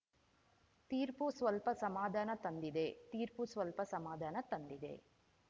ತೀರ್ಪು ಸ್ವಲ್ಪ ಸಮಾಧಾನ ತಂದಿದೆ ತೀರ್ಪು ಸ್ವಲ್ಪ ಸಮಾಧಾನ ತಂದಿದೆ